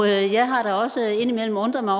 jeg har da også indimellem undret mig